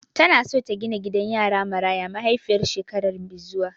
Tana so ta gina gidan yara Maraya mahaifiyar shekara mai zuwa.